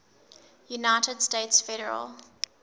united states federal